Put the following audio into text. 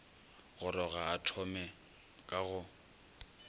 goroga a thome ka go